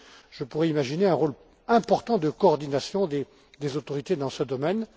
Je pourrais imaginer un rôle important de coordination des autorités dans ce domaine.